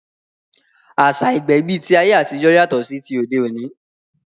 Àṣá ìgbẹ̀bí ti ayé àtijọ́ yàtọ̀ sí ti òde òní